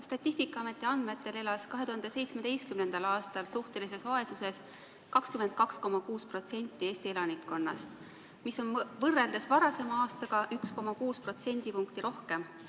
Statistikaameti andmetel elas 2017. aastal suhtelises vaesuses 22,6% Eesti elanikkonnast, mis oli võrreldes varasema aastaga 1,6% võrra rohkem.